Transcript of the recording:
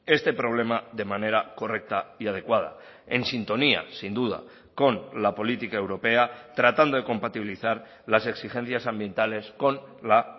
este problema de manera correcta y adecuada en sintonía sin duda con la política europea tratando de compatibilizar las exigencias ambientales con la